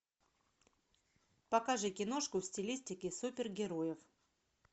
покажи киношку в стилистике супергероев